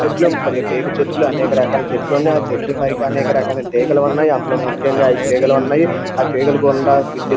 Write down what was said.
చెట్లు కొన్ని టేకు చెట్లు అనేకరకాల చెట్లున్నాయి ఆ చెట్లు పైకి అనేక రకాల తీగలున్నాయి అందులో ముఖ్యంగా ఐదు తీగలున్నాయి ఆ తీగల గుండా విద్యుత్--